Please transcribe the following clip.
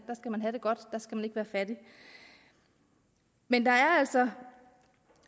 skal man have det godt der skal man ikke være fattige men der er altså